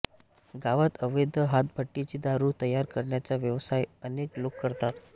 गावात अवैध हातभट्टीची दारू तयार करण्याचा व्यवसाय अनेक लोक करतात